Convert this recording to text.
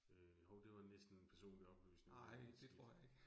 Øh hov det var næsten personlig oplysning shit